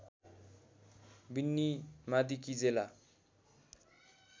Vinny Madikizela